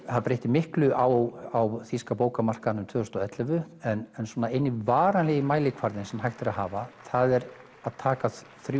það breytti miklu á þýska bókamarkaðnum tvö þúsund og ellefu en eini varanlegi mælikvarðinn sem hægt er að hafa það er að taka